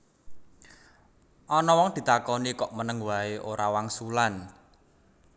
Ana wong ditakoni kok meneng waé ora wangsulan